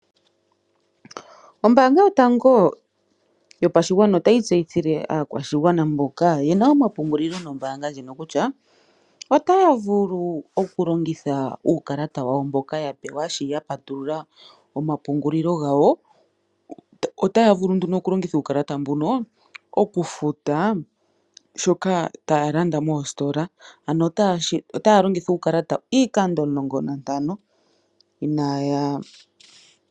Ombaanga yotango yopashigwana otayi tseyithile aakwashigwana mboka yena omapungulilo nombaanga ndjino kutya, otaya vulu oku longitha uukalata wawo mboka yapewa shi yapatulula omapungulilo gawo. Otaya vulu nduno okulongitha uukalata mbuno oku futa shoka taya landa mositola , ano otaya longitha uukalata iikando 15 inaya futa sha.